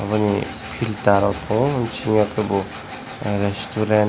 obo ni pita rok tango bisingo kebo resturant .